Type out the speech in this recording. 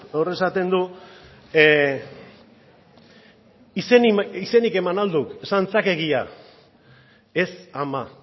hor esaten du izenik eman al duk esan zak egia ez ama